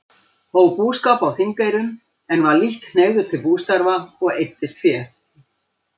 Hóf búskap á Þingeyrum, en var lítt hneigður til bústarfa og eyddist fé.